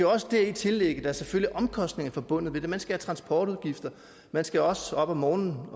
også dertil lægge at der selvfølgelig er omkostninger forbundet med det man skal have transportudgifter man skal også op om morgenen